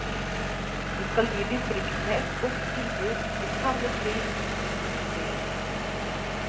Vi skal gi distriktene et godt tilbud til samme pris som de store byene.